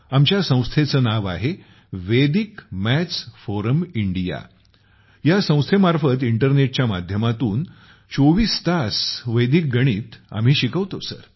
आमच्या संस्थेचे नाव आहे व्हेडिक मॅथ्स फोरम इंडिया । ह्या संस्थेमार्फत आम्ही इंटरनेट च्या माध्यमातुन 24 तास व्हेडिक मॅथ्स शिकवतो सर